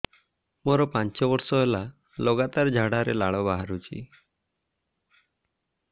ମୋରୋ ପାଞ୍ଚ ବର୍ଷ ହେଲା ଲଗାତାର ଝାଡ଼ାରେ ଲାଳ ବାହାରୁଚି